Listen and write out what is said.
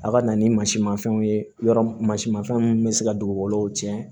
A ka na ni mansi ma fɛnw ye yɔrɔ mun mansin mafɛnw min bɛ se ka dugukolow cɛn